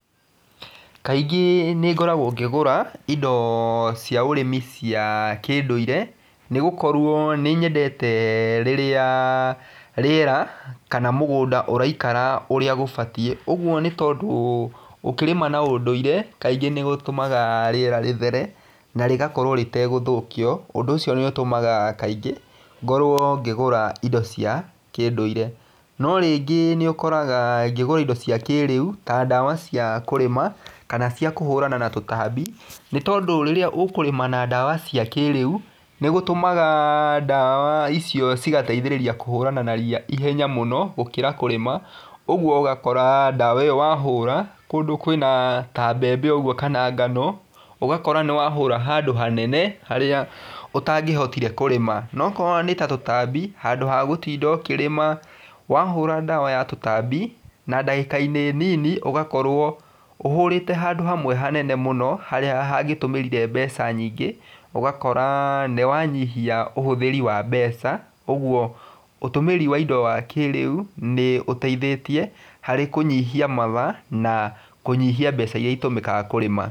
Kaingĩ nĩ ngoragwo ngĩgũra indo cia ũrĩmi cia kĩndũire, nĩ gũkorwo nĩ nyendete rĩrĩa rĩera, kana mũgũnda ũraikara ũrĩa gũbatiĩ, ũguo nĩ tondũ ũkĩrĩma na ũndũire kaingĩ nĩ gũtũmaga rĩera rĩthere na rĩgakorwo rĩtegũthũkio ũndũ ũcio nĩ ũtũmaga kaingĩ ngorwo ngĩgũra indo cia kĩndũire. No rĩngĩ nĩ ũkoraga ngĩgũra indo cia kĩrĩu ta ndawa cia kũrĩma kana cia kũhũrana na tũtambi nĩ tondũ rĩrĩa ũkũrĩma na ndawa cia kĩrĩu, nĩ gũtũmaga ndawa icio cigateithĩrĩria kũhũrana na ria ihenya mũno gũkĩra kũrĩma, ũguo ũgakora ndawa ĩyo wahũra, kũndũ kwĩna ta mbembe ũguo kana ngano, ũgakora nĩ wahũra handũ hanene, harĩa ũtangĩhotire kũrĩma, no korwo nĩ ta tũtambi, handũ wa gũtinda ũkĩrĩma, wahũra ndawa ya tũtambi, na ndagĩkainĩ nini ũgakorwo ũhũrĩte handũ hanene mũno, harĩa hangĩtũmĩrire mbeca nyingĩ ũgakora nĩ wanyihia ũhũthĩri wa mbeca, ũguo ũtũmĩri wa indo wa kĩrĩu nĩ ũteithĩtie harĩ kũnyihia mathaa na kũnyihia mbeca iria itũmĩkaga kũrĩma.